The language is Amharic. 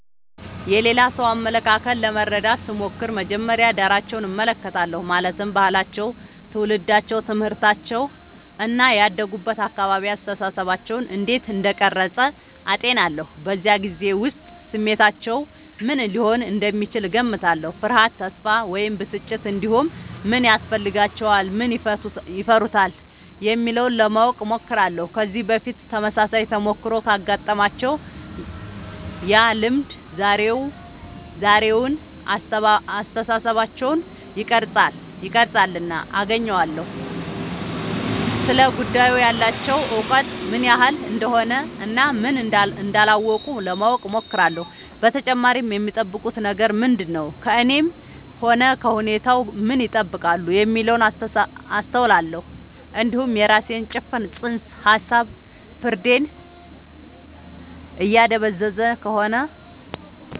የሌላ ሰው አመለካከት ለመረዳት ስሞክር መጀመሪያ ዳራቸውን እመለከታለሁ ማለትም ባህላቸው ትውልዳቸው ትምህርታቸው እና ያደጉበት አካባቢ አስተሳሰባቸውን እንዴት እንደቀረጸ አጤናለሁ በዚያ ጊዜ ውስጥ ስሜታቸው ምን ሊሆን እንደሚችል እገምታለሁ ፍርሃት ተስፋ ወይም ብስጭት እንዲሁም ምን ያስፈልጋቸዋል ምን ይፈሩታል የሚለውን ለማወቅ እሞክራለሁ ከዚህ በፊት ተመሳሳይ ተሞክሮ ካጋጠማቸው ያ ልምድ ዛሬውን አስተሳሰባቸውን ይቀርፃልና አገናኘዋለሁ ስለ ጉዳዩ ያላቸው እውቀት ምን ያህል እንደሆነ እና ምን እንዳላወቁ ለማወቅ እሞክራለሁ በተጨማሪም የሚጠብቁት ነገር ምንድነው ከእኔም ሆነ ከሁኔታው ምን ይጠብቃሉ የሚለውን አስተውላለሁ እንዲሁም የራሴ ጭፍን ጽንሰ ሀሳብ ፍርዴን እያደበዘዘ ከሆነ